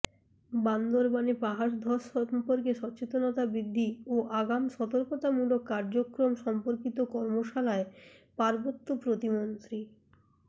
বান্দরবানে পাহাড় ধস সম্পর্কে সচেতনতা বৃদ্ধি ও আগাম সর্তকতামূলক কার্যক্রম সম্পর্কিত কর্মশালায় পার্বত্য প্রতিমন্ত্রী